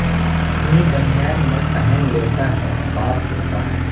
اپنی بنیان میں پہن لیتا ہے باپ ہوتا ہے